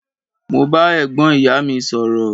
Mo ba ẹ̀gbọ́n ìyá mi sọ̀rọ̀.